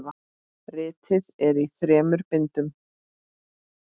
Ritið er í þremur bindum.